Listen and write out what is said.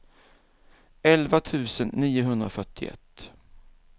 elva tusen niohundrafyrtioett